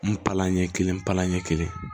N palan ɲɛ kelen palan ɲɛ kelen